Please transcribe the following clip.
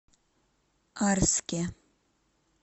арске